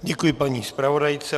Děkuji paní zpravodajce.